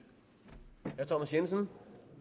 jensen